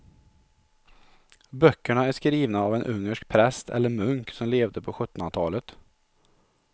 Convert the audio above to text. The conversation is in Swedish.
Böckerna är skrivna av en ungersk präst eller munk som levde på sjuttonhundratalet.